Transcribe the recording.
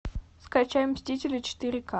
скачай мстители четыре к